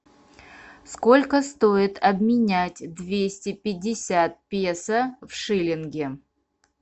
сколько стоит обменять двести пятьдесят песо в шиллинги